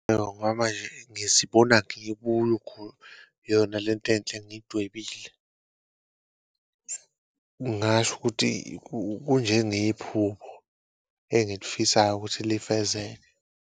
Ngoba nje ngizibona yona lento enhle engiyidwebile ngasho ukuthi, kunje ngephupho engilifisayo ukuthi lifezeke.